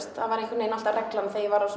það var einhvern veginn alltaf reglan þegar ég var á